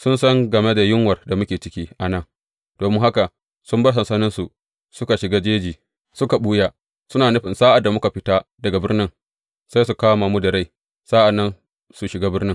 Sun san game da yunwar da muke ciki a nan, domin haka sun bar sansaninsu suka shiga jeji suka ɓuya, suna nufin sa’ad da muka fita daga birni, sai su kama mu da rai, sa’an nan su shiga birnin.